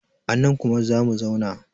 anan kuma za mu zauna!